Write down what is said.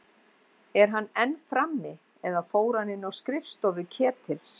Er hann enn frammi- eða fór hann inn á skrifstofu Ketils?